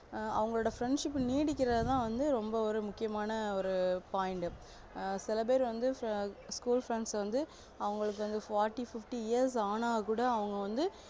ஆஹ் அவங்களோட friendship நீடிக்கிரதுதா வந்து ரொம்ப வந்து முக்கியமான ஒரு point சில பேரு வந்து school friend வந்து அவங்களுக்கு fourty fifty years ஆனாலும் கூட அவங்க வந்து